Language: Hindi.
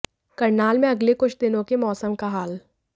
करनाल में अगले कुछ दिनों के मौसम का हाल